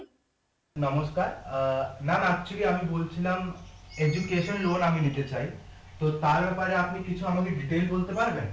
নমস্কার আহ maam actually আমি বলছিলাম education loan আমি নিতে চাই তো তার ব্যাপারে আপনি কিছু আমাকে detail বলতে পারবেন